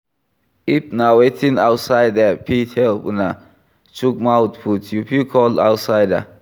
If na wetin outsider fit help una chook mouth put, you fit call outsider